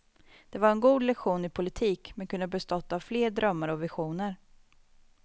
Den var en god lektion i politik men kunde bestått av fler drömmar och visioner.